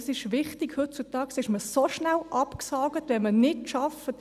Das ist wichtig, denn heutzutage ist man so schnell abgesägt, wenn man nicht arbeitet.